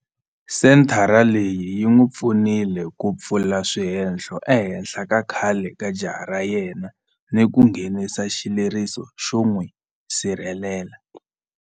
Senthara leyi yi n'wi pfunile ku pfula swihehlo ehenhla ka khale ka jaha ra yena ni ku nghenisa xileriso xo n'wi sirhelela.